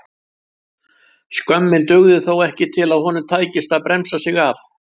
Skömmin dugði þó ekki til að honum tækist að bremsa sig af.